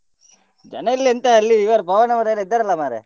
ಜನ ಇಲ್ಲಾ ಎಂತ ಅಲ್ಲಿ ಇವರು ಪವನ್ ಅವರು ಎಲ್ಲಾ ಇದ್ದಾರಲ್ಲಾ ಮಾರ್ರೆ.